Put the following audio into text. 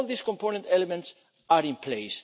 All these component elements are in place.